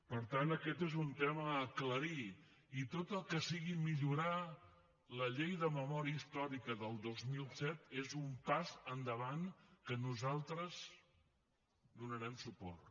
per tant aquest és un tema a aclarir i tot el que sigui millorar la llei de memòria històrica del dos mil set és un pas endavant al qual nosaltres donarem suport